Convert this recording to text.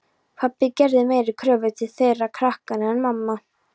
Pabbi gerði meiri kröfur til þeirra krakkanna en mamma.